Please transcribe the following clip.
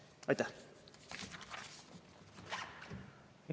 Aitäh!